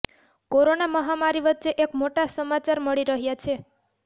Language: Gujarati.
કોરોના મહામારી વચ્ચે એક મોટા સમાચાર મળી રહ્યા છે